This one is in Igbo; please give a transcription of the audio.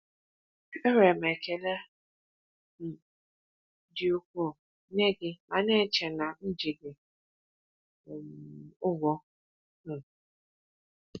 Enwere m ekele um dị ukwuu nye gị ma na-eche na m ji gị um ụgwọ. um